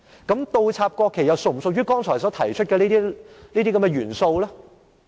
那麼倒插國旗又是否屬於剛才所提出的元素呢？